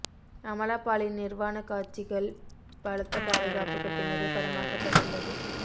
அமலா பாலின் நிர்வாணக் காட்சிகிள் பலத்த பாதுகாப்புக்கு பின்னரே படமாக்கப்பட்டுள்ளது